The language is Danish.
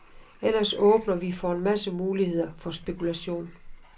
Ellers åbner vi for en masse muligheder for spekulation.